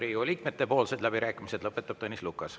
Riigikogu liikmete poolt lõpetab läbirääkimised Tõnis Lukas.